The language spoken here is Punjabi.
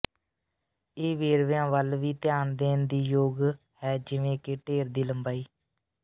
ਇਹ ਵੇਰਵਿਆਂ ਵੱਲ ਵੀ ਧਿਆਨ ਦੇਣ ਯੋਗ ਹੈ ਜਿਵੇਂ ਕਿ ਢੇਰ ਦੀ ਲੰਬਾਈ